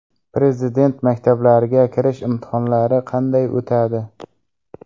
Prezident maktablariga kirish imtihonlari qanday o‘tadi?